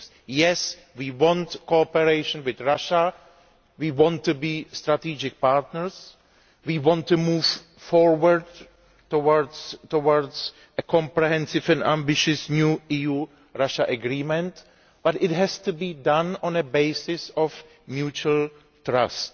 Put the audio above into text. Yes, we want cooperation with Russia, we want to be strategic partners, we want to move forward towards a comprehensive and ambitious new EU Russia agreement, but it has to be done on a basis of mutual trust.